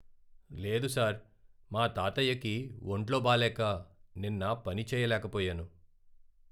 లేదు సార్, మా తాతయ్యకి వొంట్లో బాలేక నిన్న పని చేయలేకపోయాను.